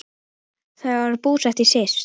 Þau eru búsett í Sviss.